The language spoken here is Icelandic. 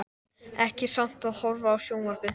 Ekki samt að horfa á sjónvarpið.